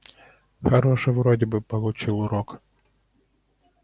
хороший вроде бы получил урок